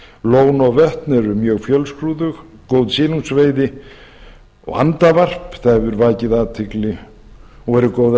lón og vötn eru mjög fjölskrúðug góð silungsveiði og andavarp það hefur vakið athygli og eru góðar